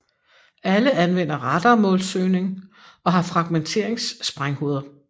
Alle anvender radarmålsøgning og har fragmenteringssprænghoveder